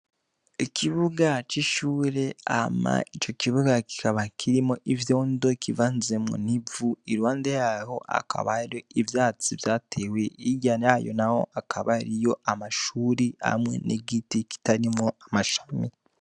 Ikibuga c'ishure hama ico kibuga kikaba kirimwo ivyondo kivanzemwo ivu, Iruhande yaho hakaba ivyatsi vyatewe hirya yayo naho amashure nigiti kitarimwo amashami.